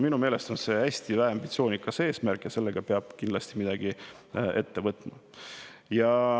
Minu meelest on see hästi väheambitsioonikas eesmärk ja sellega peab kindlasti midagi ette võtma.